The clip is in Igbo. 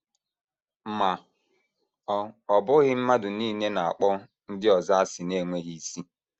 Ma ọ ọ bụghị mmadụ nile na - akpọ ndị ọzọ asị na - enweghị isi.